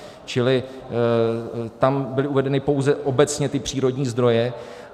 Čili tam byly uvedeny pouze obecně ty přírodní zdroje.